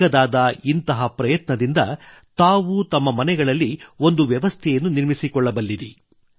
ಚಿಕ್ಕದಾದ ಇಂಥ ಪ್ರಯತ್ನದಿಂದ ತಾವು ತಮ್ಮ ಮನೆಗಳಲ್ಲಿ ಒಂದು ವ್ಯವಸ್ಥೆಯನ್ನು ನಿರ್ಮಿಸಿಕೊಳ್ಳಬಲ್ಲಿರಿ